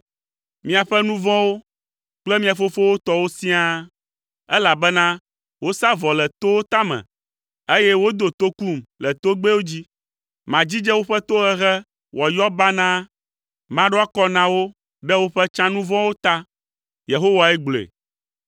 miaƒe nu vɔ̃wo kple mia fofowo tɔwo siaa, elabena wosa vɔ le towo tame, eye wodo tokum le togbɛwo dzi. Madzidze woƒe tohehe wòayɔ banaa, maɖo akɔ na wo ɖe woƒe tsã nu vɔ̃wo ta.” Yehowae gblɔe.